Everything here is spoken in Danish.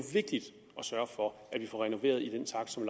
vigtigt at sørge for at vi får renoveret i den takt som